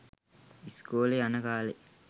ස්කොලෙ යන කාලේ.